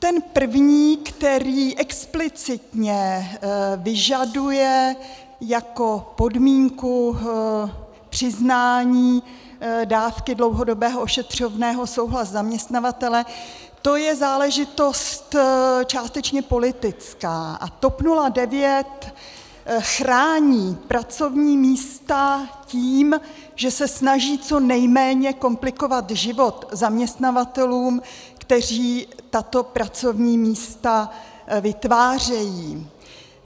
Ten první, který explicitně vyžaduje jako podmínku přiznání dávky dlouhodobého ošetřovného souhlas zaměstnavatele, to je záležitost částečně politická a TOP 09 chrání pracovní místa tím, že se snaží co nejméně komplikovat život zaměstnavatelům, kteří tato pracovní místa vytvářejí.